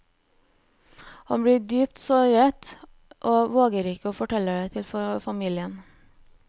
Han blir dypt såret, og våger ikke å fortelle det til familien.